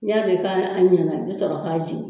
N'i y'a dɔn ka an ɲɛna i bi sɔrɔ k'a jigin